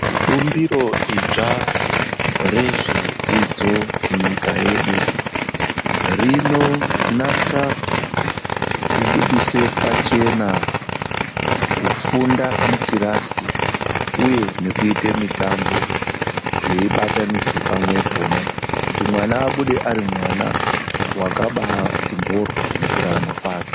Bumbiro idzva rezvedzidzo munyika yedu, rinonasa kubudise pachena kufunda mukirasi uye nekuyite mitambo zveyi batanidzwe pamwepona, kuti mwana abude ari mwana wakabati mboryo mukurarama kwake.